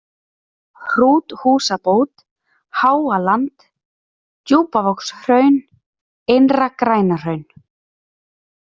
Hrúthúsabót, Háaland, Djúpavogshraun, Innra-Grænahraun